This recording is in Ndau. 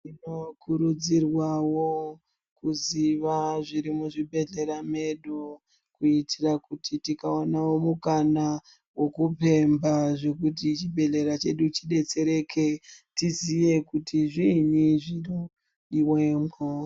Tinokurudzirwavo kuziva zviri muzvibhedhlera medu. Kuitira kuti tikaonavo mukana vokupemha zvekuti chibhedhlera chedu chibetsereke tiziye, kuti zviinyi zvinodivemwo.